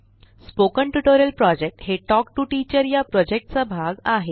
spoken tutorial project हे talk to teacher या project चा भाग आहे